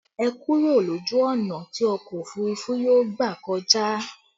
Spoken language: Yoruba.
Ẹ kúrò lójú ọ̀nà tí ọkọ òfurufú yóò gbà kọjá!